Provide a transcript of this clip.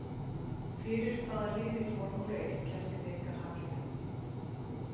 Fyrir hvaða lið í Formúlu eitt keppti Mika Hakkinen?